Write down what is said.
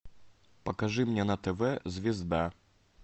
покажи мне на тв звезда